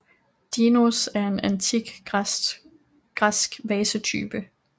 Dinos er en antik græsk vasetype